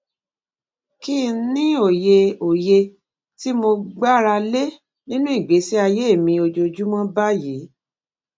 kí n ní òye òye tí mo gbára lé nínú ìgbésí ayé mi ojoojúmó báyìí